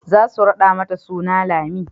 za su raɗa mata suna Lami